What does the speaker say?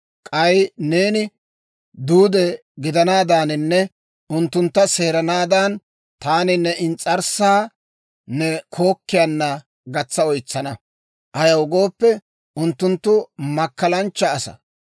K'ay neeni duude gidanaadaaninne unttuntta seerennaadan, taani ne ins's'arssaa ne kookkiyaana gatsa oytsana. Ayaw gooppe, unttunttu makkalanchcha asaa.